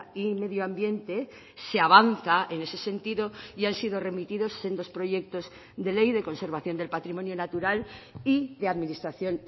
y medioambiente se avanza en ese sentido y han sido remitidos sendos proyectos de ley de conservación del patrimonio natural y de administración